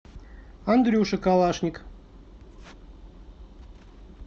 андрюша калашник